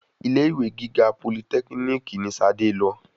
Ilé-ìwe gíga politẹ́kínìkì ní Ṣadé lọ.